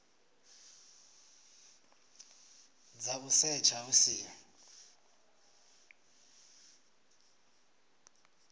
dza u setsha hu siho